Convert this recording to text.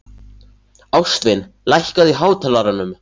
Ástvin, lækkaðu í hátalaranum.